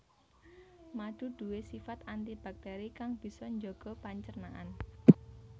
Madu nduwe sifat anti baktéri kang bisa njaga pencernaan